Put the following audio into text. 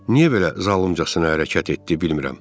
Niyə belə zalımcasına hərəkət etdi, bilmirəm.